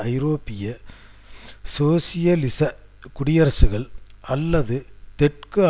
ஐரோப்பிய சோசியலிச குடியரசுகள் அல்லது தெற்கு